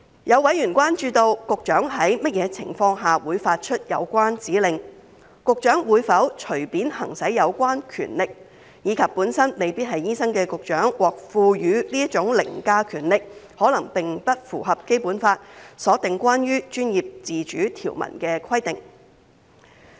有委員關注到，局長在甚麼情況下會發出有關指令，局長會否隨便行使有關權力，以及本身未必是醫生的局長獲賦予這種凌駕權力，可能並不符合《基本法》所訂關於專業自主條文的規定。